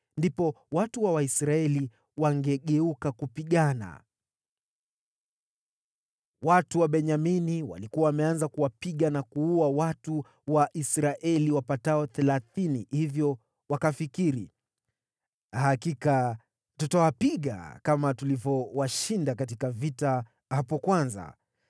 ndipo watu wa Waisraeli wangegeuka kupigana. Watu wa Benyamini walikuwa wameanza kuwapiga na kuua watu wa Israeli (wapatao thelathini), hivyo wakafikiri, “Hakika tutawapiga, kama tulivyowashinda katika vita hapo kwanza.”